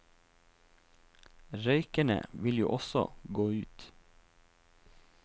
Røykerne vil jo også gå ut.